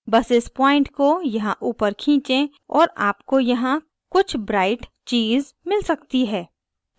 बस इस point को यहाँ ऊपर खींचें और आपको यहाँ कुछ bright चीज़ मिल सकती है